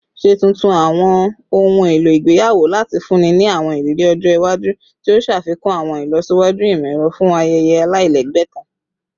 Ṣe tuntun awọn ohun elo igbeyawo lati funni ni awọn iriri ọjọ iwaju, ti o ṣafikun awọn ilọsiwaju imọ-ẹrọ fun ayẹyẹ alailẹgbẹ kan